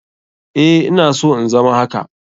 Eh ina so in zama haka.